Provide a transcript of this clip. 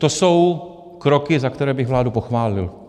To jsou kroky, za které bych vládu pochválil.